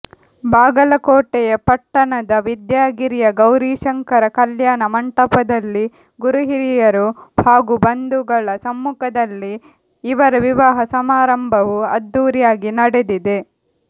ಬಾಗಲಕೋಟೆಯ ಪಟ್ಟಣದ ವಿದ್ಯಾಗಿರಿಯ ಗೌರಿಶಂಕರ ಕಲ್ಯಾಣ ಮಂಟಪದಲ್ಲಿ ಗುರುಹಿರಿಯರು ಹಾಗೂ ಬಂಧುಗಳ ಸಮ್ಮುಖದಲ್ಲಿ ಇವರ ವಿವಾಹ ಸಮಾರಂಭವು ಅದ್ದೂರಿಯಾಗಿ ನಡೆದಿದೆ